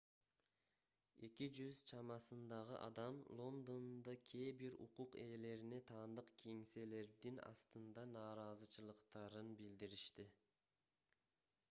200 чамасындагы адам лондондо кээ бир укук ээлерине таандык кеңселердин астында нааразычылыктарын билдиришти